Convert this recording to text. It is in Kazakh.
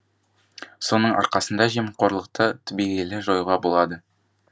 соның арқасында жемқорлықты түбегейлі жоюға болады